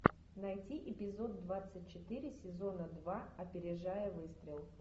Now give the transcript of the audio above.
найти эпизод двадцать четыре сезона два опережая выстрел